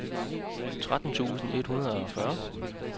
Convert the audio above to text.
tretten tusind et hundrede og fyrre